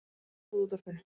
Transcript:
Ég trúði útvarpinu.